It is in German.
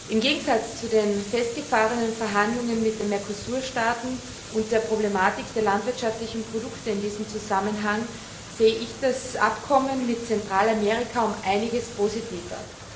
Im Gegensatz zu den festgefahrenen Verhandlungen mit den MERCOSUR Staaten und der Problematik der landwirtschaftlichen Produkte in diesem Zusammenhang sehe ich das Abkommen mit Zentralamerika um einiges positiver.